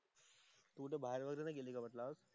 तू कुठे बाहेर वगैरे नाही गेली का म्हंटलं आज?